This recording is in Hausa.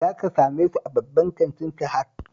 Za ka same su a babban kantin Sahad